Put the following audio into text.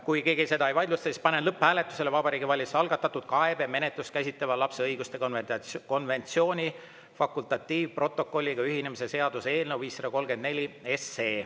Kui keegi seda ei vaidlusta, siis panen lõpphääletusele Vabariigi Valitsuse algatatud kaebemenetlust käsitleva lapse õiguste konventsiooni fakultatiivprotokolliga ühinemise seaduse eelnõu 534.